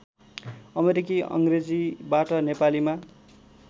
अमेरिकी अङ्ग्रेजीबाट नेपालीमा